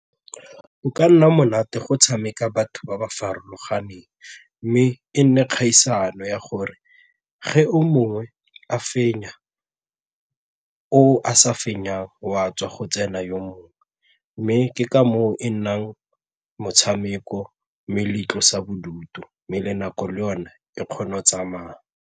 Go ka nna monate go tshameka batho ba ba farologaneng mme e nne kgaisano ya gore ge o mongwe a fenya oo a sa fenyang o a tswa go tsena yo mongwe mme ke ka moo e nnang motshameko mme le itlosa bodutu mme le nako le yone e kgona go tsamaya.